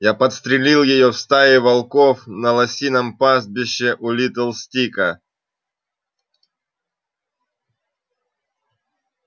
я подстрелил её в стае волков на лосином пастбище у литл стика